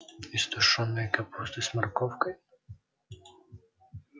из тушёной капусты с морковкой